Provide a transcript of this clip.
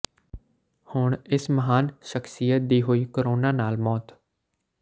ਹੁਣ ਇਸ ਮਹਾਨ ਸ਼ਖਸ਼ੀਅਤ ਦੀ ਹੋਈ ਕੋਰੋਨਾ ਨਾਲ ਮੌਤ